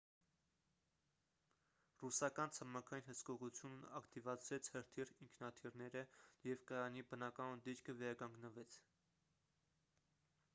ռուսական ցամաքային հսկողությունն ակտիվացրեց հրթիռ ինքնաթիռները և կայանի բնականոն դիրքը վերականգնվեց